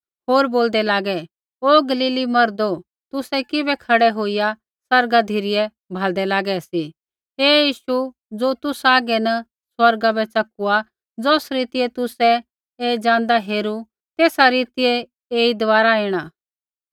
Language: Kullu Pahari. होर बोलदै लागै ओ गलीली मर्दो तुसै किबै खड़ै होईया आसमाना धिरै भाल्दै लागै सी ऐ यीशु ज़ो तुसा हागै न स्वर्गा बै च़कुआ ज़ौस रीतियै तुसै ऐ ज़ाँदा हेरू तेसा रीतियै ऐई दबारा ऐणा